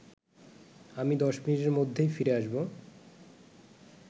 আমি ১০ মিনিটের মধ্যেই ফিরে আসব